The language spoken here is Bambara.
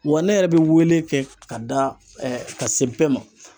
Wa ne yɛrɛ bɛ wele kɛ ka da ka se bɛɛ ma